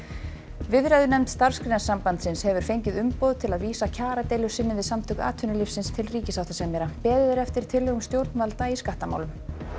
viðræðunefnd Starfsgreinasambandsins hefur fengið umboð til að vísa kjaradeilu sinni við Samtök atvinnulífsins til ríkissáttasemjara beðið er eftir tillögum stjórnvalda í skattamálum